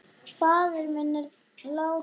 Faðir minn er látinn.